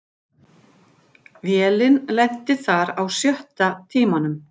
Vélin lenti þar á sjötta tímanum